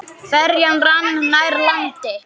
Ferjan rann nær landi.